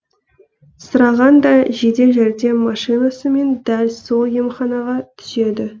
сырағаң да жедел жәрдем машинасымен дәл сол емханаға түседі